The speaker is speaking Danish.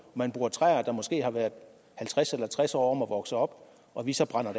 man bruger træer der måske har været halvtreds eller tres år om at vokse op og vi så brænder